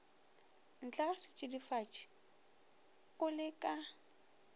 ntlega setšidifatši o le ka